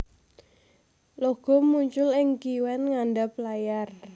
Logo muncul ing kiwen ngandap layar